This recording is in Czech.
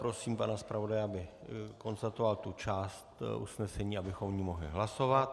Prosím pana zpravodaje, aby konstatoval tu část usnesení, abychom o ní mohli hlasovat.